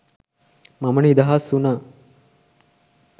මම නිදහස් වුණා